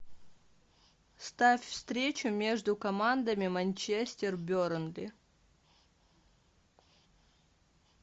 ставь встречу между командами манчестер бернли